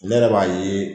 Ne yɛrɛ b'a ye